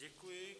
Děkuji.